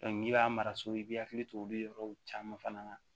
n'i b'a mara so i bɛ hakili to olu yɔrɔw caman fana na